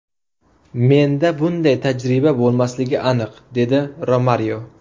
Menda bunday tajriba bo‘lmasligi aniq”, – dedi Romario.